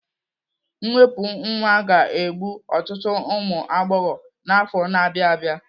Mwepụ nwa ga-egbu ọtụtụ ụmụ agbọghọ n'afọ na-abịa abịa.